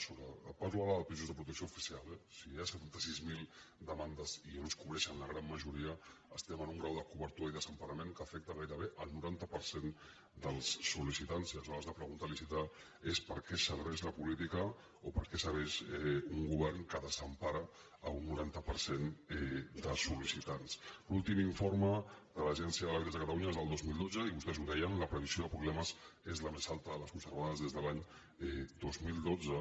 parlo ara de pisos de protecció oficial eh si hi ha setanta sis mil demandes i no es cobrei·xen la gran majoria estem en un grau de cobertura i desemparament que afecta gairebé el noranta per cent dels sol·serveix la política o per a què serveix un govern que des·empara un noranta per cent de soll’últim informe de l’agència de l’habitatge de catalu·nya és del dos mil dotze i vostès ho deien la previsió de pro·blemes és la més alta de les observades des de l’any dos mil dotze